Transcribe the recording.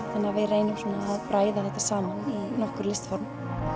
við reynum að bræða þetta saman í nokkur listform